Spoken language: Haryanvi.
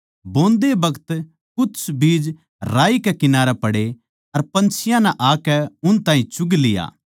बोंदे बखत कुछ बीज राही कै किनारै पड़े अर पन्छियाँ नै आकै उन ताहीं चुग लिया